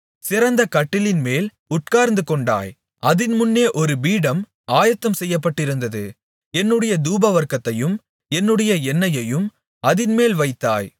சிறந்த கட்டிலின்மேல் உட்கார்ந்துகொண்டாய் அதின் முன்னே ஒரு பீடம் ஆயத்தம் செய்யப்பட்டிருந்தது என்னுடைய தூபவர்க்கத்தையும் என்னுடைய எண்ணெயையும் அதின்மேல் வைத்தாய்